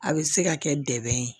A bɛ se ka kɛ dɛmɛ ye